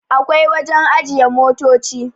akwai wajen ajiye motoci